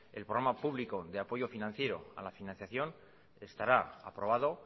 el programa público de apoyo financiero a la financiación estará aprobado